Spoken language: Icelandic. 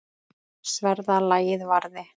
Sverða lagið varði.